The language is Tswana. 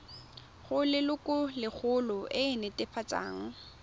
go lelokolegolo e e netefatsang